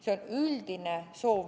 See on üldine soov.